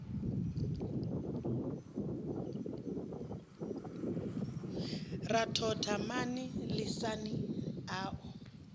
ra thotha mani lisani au